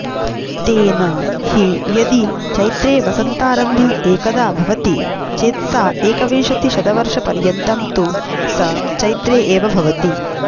तेन हि यदि चैत्रे वसन्तारम्भ एकदा भवति चेत्साकविंशतिशतवर्षपर्यन्तं तु स चैत्रे एव भवति